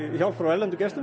hjálp frá erlendum gestum